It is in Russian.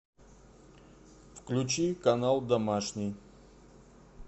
включи канал домашний